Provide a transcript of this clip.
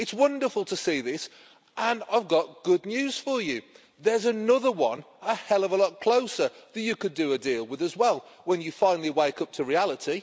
It's wonderful to see this, and I've got good news for you there's another one, a hell of a lot closer that you could do a deal with as well, when you finally wake up to reality.